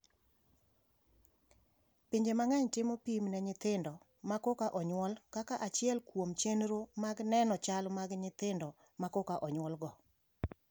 Pinje mang'eny timo pim ne nyithindo ma koka onyuol kaka achiel kuom chenro mag neno chal mag nyithindo ma koka onyuolgo.